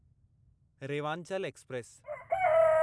Rewanchal express